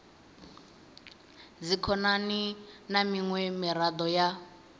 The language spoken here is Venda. dzikhonani na miṅwe miraḓo ya